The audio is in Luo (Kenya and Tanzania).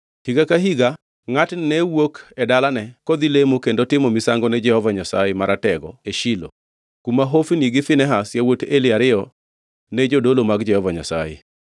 Higa ka higa ngʼatni ne wuok e dalane kodhi lemo kendo timo misango ne Jehova Nyasaye Maratego e Shilo, kuma Hofni gi Finehas, yawuot Eli ariyo, ne jodolo mag Jehova Nyasaye.